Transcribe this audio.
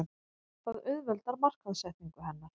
Það auðveldar markaðssetningu hennar.